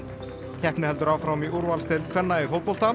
keppni heldur áfram í úrvalsdeild kvenna í fótbolta